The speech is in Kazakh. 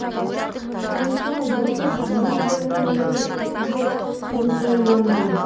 сонсоң бұрылып өз жөніммен кетуге оңтайландым